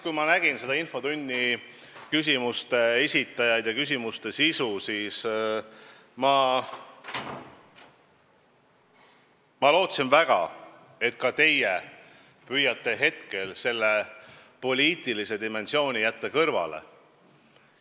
Kui ma nägin selle infotunni küsimuste esitajaid ja küsimuste sisu, siis ma lootsin väga, et ka teie püüate praegu poliitilise dimensiooni kõrvale jätta.